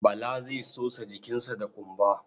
Bala zai sosa jikinsa da ƙumba.